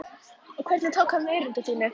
Og hvernig tók hann erindi þínu?